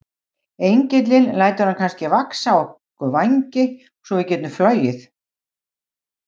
Engillinn lætur kannski vaxa á okkur vængi svo við getum flogið?